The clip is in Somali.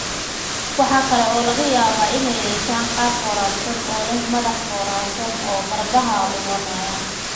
Waxa kale oo laga yaabaa inay yeeshaan qaab foorarsan oo leh madax foorarsan oo garbaha luloonaya.